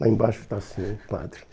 Lá embaixo está assim, Padre.